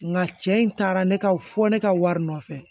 Nka cɛ in taara ne ka fɔ ne ka wari nɔfɛ